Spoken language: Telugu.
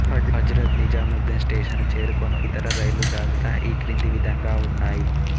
హజ్రత్ నిజాముద్దీన్ స్టేషను చేరుకొను ఇతర రైళ్ళు జాబితా ఈ క్రింద విధంగా ఉన్నాయి